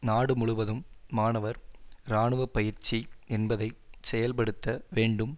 நாடு முழுவதும் மாணவர் இராணுவ பயிற்சி என்பதை செயல்படுத்த வேண்டும்